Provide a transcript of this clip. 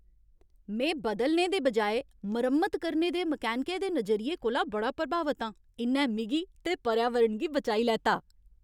में बदलने दे बजाए मरम्मत करने दे मकैनिकै दे नजरिये कोला बड़ा प्रभावत आं। इ'न्नै मिगी ते पर्यावरण गी बचाई लैता।